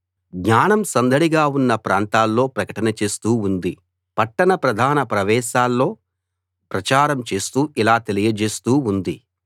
జ్ఞానం సందడిగా ఉన్న ప్రాంతాల్లో ప్రకటన చేస్తూ ఉంది పట్టణ ప్రధాన ప్రవేశాల్లో ప్రచారం చేస్తూ ఇలా తెలియజేస్తూ ఉంది